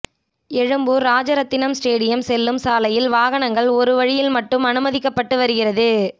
Egmore Rajarathinam stadium செல்லும் சாலையில் வாகனங்கள் ஒருவழியில் மட்டும் அனுமதிக்கப்பட்டு வருகிறது